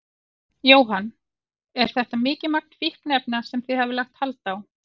Jóhann: Er þetta mikið magn fíkniefna sem þið hafið lagt hald á?